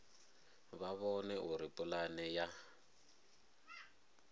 vha vhone uri pulane ya